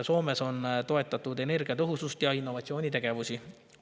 Soomes on toetatud energiatõhusust ja innovatsioonitegevusi.